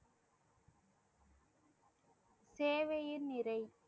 சேவையின் நிறை